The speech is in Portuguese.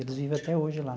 Eles vive até hoje lá.